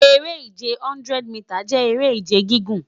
Ere-ije 100 mita jẹ ere-ije gigun